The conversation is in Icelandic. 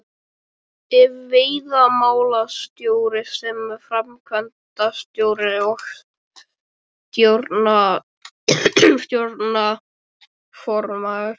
Ef veiðimálastjóri sem framkvæmdastjóri og stjórnarformaður